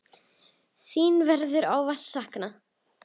Þín verður ávallt saknað.